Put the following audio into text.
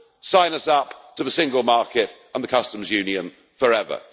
sign us up to a single market and the Customs Union forever.